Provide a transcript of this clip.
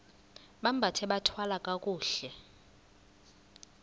bambathe bathwale kakuhle